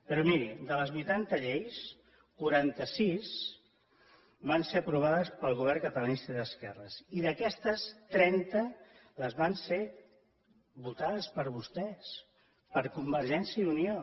però miri de les vuitanta lleis quaranta sis van ser aprovades pel govern catalanista i d’esquerres i d’aquestes trenta van ser votades per vostès per convergència i unió